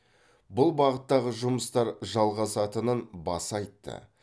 бұл бағыттағы жұмыстар жалғасатынын баса айтты